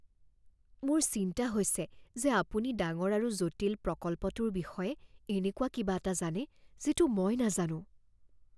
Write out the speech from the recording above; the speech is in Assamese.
মোৰ চিন্তা হৈছে যে আপুনি ডাঙৰ আৰু জটিল প্ৰকল্পটোৰ বিষয়ে এনেকুৱা কিবা এটা জানে যিটো মই নাজানো।